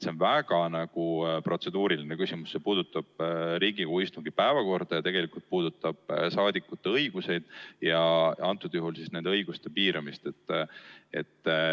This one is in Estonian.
See on väga protseduuriline küsimus, see puudutab Riigikogu istungite päevakorda ja tegelikult ka saadikute õigusi, antud juhul nende õiguste piiramist.